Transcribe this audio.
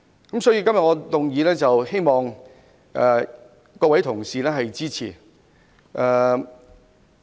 因此，我希望各位同事支持我今天的議案。